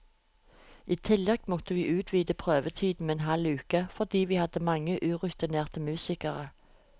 I tillegg måtte vi utvide prøvetiden med en halv uke, fordi vi hadde mange urutinerte musikere.